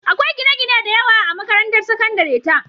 Akwai gine-gine da yawa a makarantar sakandare ta.